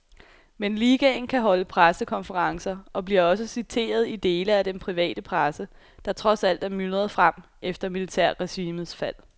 Men ligaen kan holde pressekonferencer og bliver også citeret i dele af den private presse, der trods alt er myldret frem efter militærregimets fald.